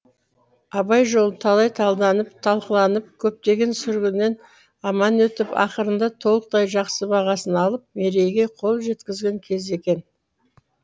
абай жолы талай талданып талқыланып көптеген сүргіннен аман өтіп ақырында толықтай жақсы бағасын алып мерейге қол жеткізген кез екен